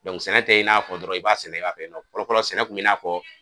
sɛnɛ tɛ i n'a fɔ dɔrɔn i b'a sɛnɛ k'a bɛn i ma, fɔlɔfɔlɔ sɛnɛ tun b'i n'a fɔ